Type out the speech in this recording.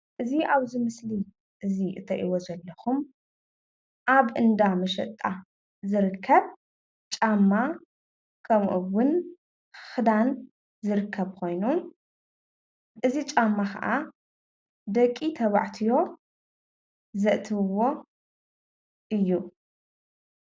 እዚ ኣብዚ ምስሊ እዚ እትሪእዎ ዘለኹም ኣብ እንዳ መሸጣ ዝርከብ ጫማ ከምኡውን ኽዳን ዝርከብ ኾይኑ እዚ ጫማ ኸዓ ደቂ ተባዕትዮ ዘእትውዎ እዩ፡፡